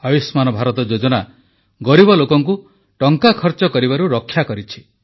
ଆୟୁଷ୍ମାନ୍ ଭାରତ ଯୋଜନା ଗରିବ ଲୋକଙ୍କୁ ଟଙ୍କା ଖର୍ଚ୍ଚ କରିବାରୁ ରକ୍ଷା କରିଛି